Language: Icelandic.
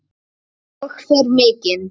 Og fer mikinn.